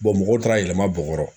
mɔgɔw taara yɛlɛma bɔgɔrɔ